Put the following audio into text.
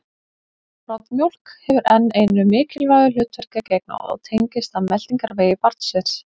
Broddmjólk hefur enn einu mikilvægu hlutverki að gegna og tengist það meltingarvegi barnsins.